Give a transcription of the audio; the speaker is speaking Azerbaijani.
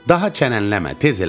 Daha çənənləmə, tez elə.